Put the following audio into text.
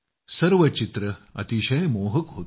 सर्व छायाचित्रे अतिशय मोहक होती